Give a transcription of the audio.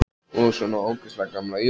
Og svona líka ógeðslega gamla jússu.